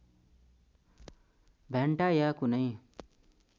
भ्यान्टा या कुनै